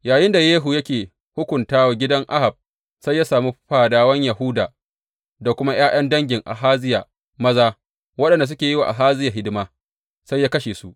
Yayinda Yehu yake hukunta wa gidan Ahab, sai ya sami fadawan Yahuda da kuma ’ya’yan dangin Ahaziya maza, waɗanda suke yi wa Ahaziya hidima, sai ya kashe su.